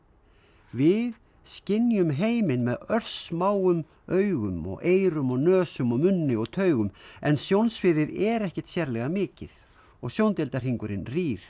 við skynjum heiminn með örsmáum augum og eyrum og nösum og munni og taugum en sjónsviðið er ekkert sérlega mikið og sjóndeildarhringurinn rýr